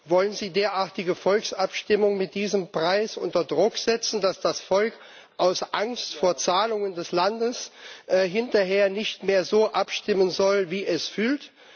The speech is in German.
Wollen Sie derartige Volksabstimmungen mit diesem Preis unter Druck setzen, dass das Volk aus Angst vor Zahlungen des Landes hinterher nicht mehr so abstimmen soll, wie es fühlt?